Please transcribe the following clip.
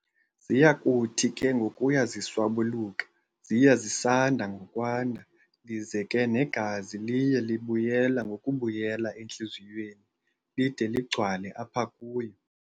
Ziyakuthi ke ngokuya ziswabuluka ziye zisanda ngokwanda, lize ke negazi liye libuyela ngokubuyela entliziyweni lide ligcwale apha kuyo.